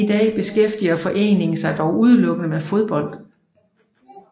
I dag beskæftiger foreningen sig dog udelukkende med fodbold